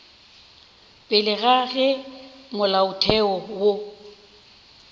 pele ga ge molaotheo wo